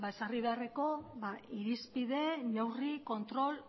ezarri beharreko irizpide neurri kontrol